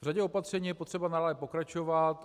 V řadě opatření je potřeba dále pokračovat.